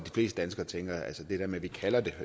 fleste danskere tænker at vi kalder det